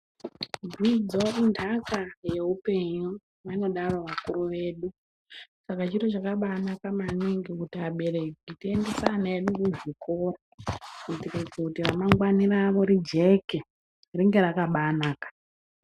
Dzidzo intaka yeupenyu vanodaro vakuru vedu saka chiro chakabaanaka maningi kuti abereki tiendese ana vedu kuzvikoro kuitire kuti remangwani rawo rijeke ringe rakabaanaka.